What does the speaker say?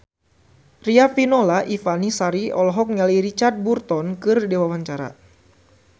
Riafinola Ifani Sari olohok ningali Richard Burton keur diwawancara